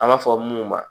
An b'a fɔ minnu ma